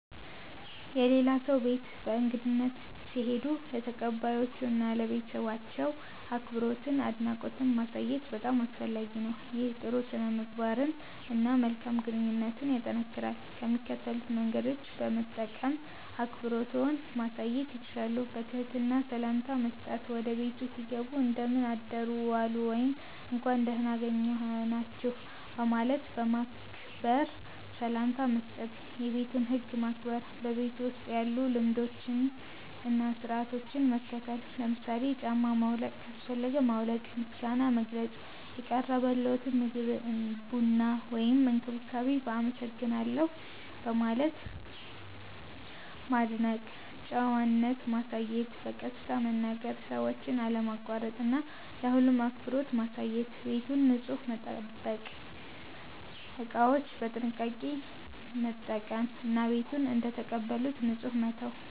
የሌላ ሰው ቤት በእንግድነት ሲሄዱ ለተቀባዮቹ እና ለቤተሰባቸው አክብሮትና አድናቆት ማሳየት በጣም አስፈላጊ ነው። ይህ ጥሩ ሥነ-ምግባርን እና መልካም ግንኙነትን ያጠናክራል። ከሚከተሉት መንገዶች በመጠቀም አክብሮትዎን ማሳየት ይችላሉ፦ በትህትና ሰላምታ መስጠት – ወደ ቤቱ ሲገቡ “እንደምን አደሩ/ዋሉ” ወይም “እንኳን ደህና አገኘናችሁ” በማለት በክብር ሰላምታ መስጠት። የቤቱን ህግ ማክበር – በቤቱ ውስጥ ያሉ ልማዶችን እና ሥርዓቶችን መከተል። ለምሳሌ ጫማ ማውለቅ ካስፈለገ ማውለቅ። ምስጋና መግለጽ – የቀረበልዎትን ምግብ፣ ቡና ወይም እንክብካቤ በ“አመሰግናለሁ” በማለት ማድነቅ። ጨዋነት ማሳየት – በቀስታ መናገር፣ ሰዎችን አለማቋረጥ እና ለሁሉም አክብሮት ማሳየት። ቤቱን ንጹህ መጠበቅ – እቃዎችን በጥንቃቄ መጠቀም እና ቤቱን እንደተቀበሉት ንጹህ መተው።